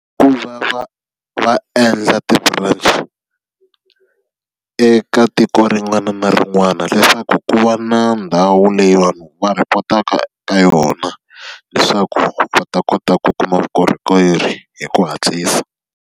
Ku va va va endla ti-branch, eka tiko rin'wana na rin'wana leswaku ku va na ndhawu leyi vanhu va rhipotaka eka yona. Leswaku va ta kota ku kuma vukorhokeri hi ku hatlisa.